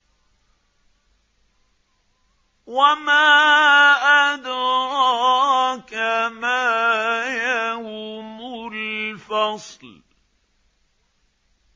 وَمَا أَدْرَاكَ مَا يَوْمُ الْفَصْلِ